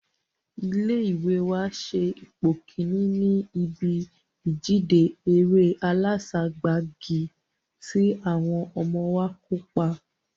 Ilé ìwé wa se ipò kíní ní ibí ìjíde eré aláságbagi tí àwọn ọmọ wa kó ipa